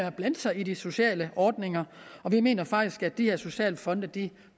at blande sig i de sociale ordninger og vi mener faktisk at de her socialfonde